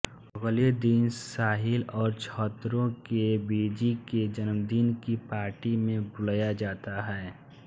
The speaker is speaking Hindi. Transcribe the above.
अगले दिन साहिल और छत्रो को बीजी के जन्मदिन की पार्टी में बुलाया जाता है